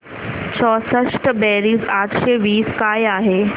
चौसष्ट बेरीज आठशे वीस काय आहे